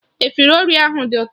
Efọriro ahụ dị ụtọ